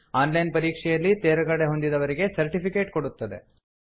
on line ಪರೀಕ್ಷೆಯಲ್ಲಿ ತೇರ್ಗಡೆಹೊಂದಿದವರಿಗೆ certificate ಕೊಡುತ್ತದೆ